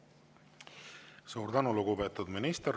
Suur tänu, lugupeetud minister!